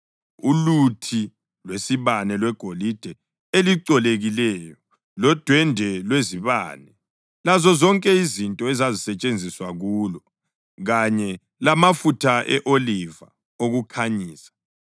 uluthi lwesibane lwegolide elicolekileyo lodwendwe lwezibane lazozonke izinto ezisetshenziswa kulo, kanye lamafutha e-oliva okukhanyisa;